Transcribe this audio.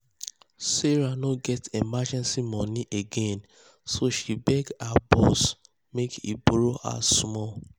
sarah no um get emergency money um again so she beg her boss make he borrow her small.